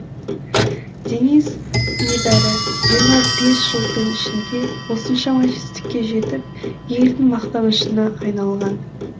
денис небәрі жиырма бес жылдың ішінде осыншама жетістікке жетіп елдің мақтанышына айналған